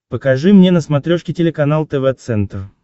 покажи мне на смотрешке телеканал тв центр